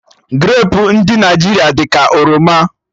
Grapu ndụ Naijiria dị ka oroma